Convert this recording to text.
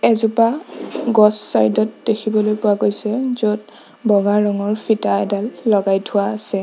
এজোপা গছ ছাইড ত দেখিবলৈ পোৱা গৈছে য'ত বগা ৰঙৰ ফিটা এডাল লগাই থোৱা আছে।